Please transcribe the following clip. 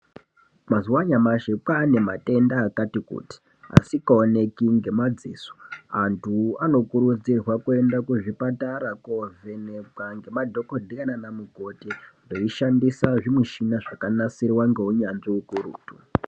Mazuva anyamashi kwaa nematenda akati kuti asingaoneki ngemadziso. Antu anokurudzirwa kuenda kuzvipatara kuovhenekwa ngemadhokodhera nana mukoti veishandisa zvimichini zvakanasirwa ngeunyanzvi ukurutu.